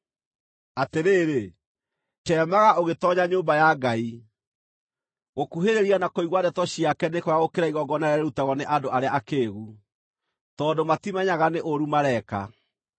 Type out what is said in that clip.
Atĩrĩrĩ, ceemaga ũgĩtoonya nyũmba ya Ngai. Gũkuhĩrĩria na kũigua ndeto ciake nĩ kwega gũkĩra igongona rĩrĩa rĩrutagwo nĩ andũ arĩa akĩĩgu, tondũ matimenyaga nĩ ũũru mareeka.